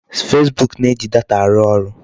Facebook na-eji data arụ arụ.